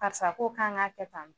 Karisa ko k'an k'a kɛ tan.